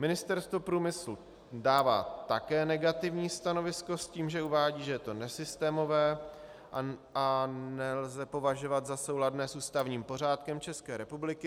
Ministerstvo průmyslu dává také negativní stanovisko s tím, že uvádí, že je to nesystémové a nelze považovat za souladné s ústavním pořádkem České republiky.